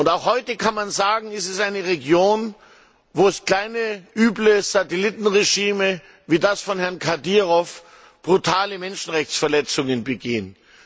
Auch heute kann man sagen, ist es eine Region, wo kleine, üble Satellitenregime wie das von Herrn Kadyrov brutale Menschenrechtsverletzungen begehen.